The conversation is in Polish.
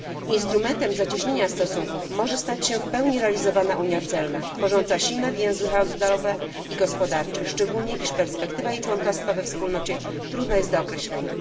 Instrumentem zacieśnienia stosunków może stać się w pełni realizowana unia celna, tworząca silne więzy handlowe i gospodarcze, szczególnie iż perspektywa członkostwa Turcji we Wspólnocie trudna jest do określenia.